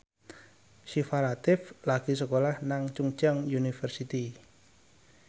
Syifa Latief lagi sekolah nang Chungceong University